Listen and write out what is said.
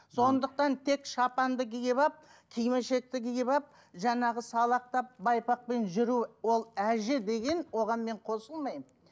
сондықтан тек шапанды киіп алып кимешекті киіп алып жаңағы салақтап байпақпен жүру ол әже деген оған мен қосылмаймын